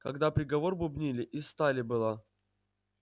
когда приговор бубнили из стали была